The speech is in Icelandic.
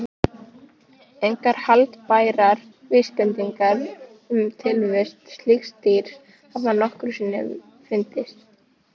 Engar haldbærar vísbendingar um tilvist slíks dýrs hafa nokkru sinni fundist.